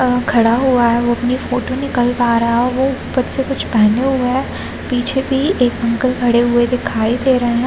Uncle खड़ा हुआ है वो अपनी फोटो निकलवा रहे है वो ऊपर से कुछ पहने हुए है पीछे भी एक अंकल खड़े हुए दिखाई दे रहे है ।